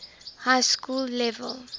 high school level